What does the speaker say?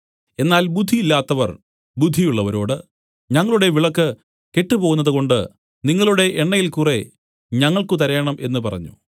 എന്നാൽ ബുദ്ധിയില്ലാത്തവർ ബുദ്ധിയുള്ളവരോട് ഞങ്ങളുടെ വിളക്കു കെട്ടുപോകുന്നതു കൊണ്ട് നിങ്ങളുടെ എണ്ണയിൽ കുറെ ഞങ്ങൾക്കു തരേണം എന്നു പറഞ്ഞു